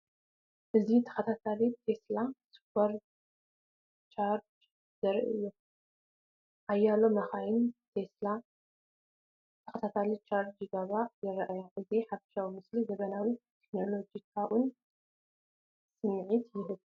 እዚ ተኸታታሊ ቴስላ ሱፐርቻርጀር ዘርኢ እዩ። ሓያሎ መካይን ቴስላ ብተኸታታሊ ቻርጅ ክገብራ ይረኣያ። እቲ ሓፈሻዊ ምስሊ ዘመናውን ቴክኖሎጂካውን ስምዒት ይህብ።